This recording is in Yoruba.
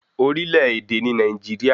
Orílè èdè ni Nàìjíríà